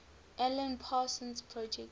alan parsons project